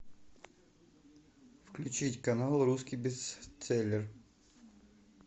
включить канал русский бестселлер